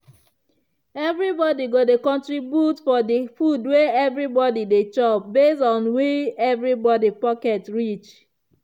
every body go dey contribute for di food wey we dey chop base on how wi every body pocket reach.